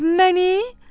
Məni?